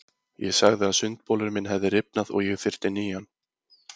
Ég sagði að sundbolurinn minn hefði rifnað og ég þyrfti nýjan.